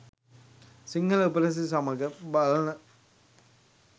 සිංහල උපසිරැසි සමඟ බලන්න